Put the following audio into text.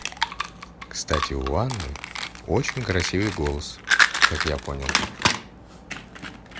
кстати у анны очень красивый голос как я понял